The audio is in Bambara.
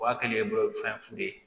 O y'a kɛlen ye bolofɛn fu ye